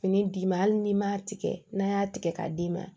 Fini d'i ma hali n'i m'a tigɛ n'a y'a tigɛ k'a d'i ma